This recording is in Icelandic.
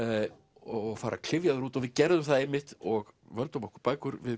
og fara klyfjaður út og við gerðum það einmitt og völdum okkur bækur við